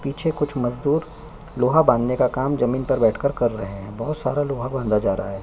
पीछे कुछ मजबूर लोहा बाँधने का काम जमीन पर बैठ कर रहै हैं बहुत सारा लोहा बाँधा जा रहा है।